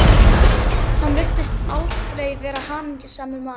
Hann virtist aldrei vera hamingjusamur maður.